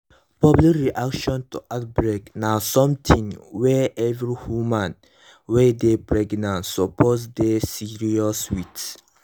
public reaction to outbreak na something wey every woman wey dey pregnant suppose dey serious with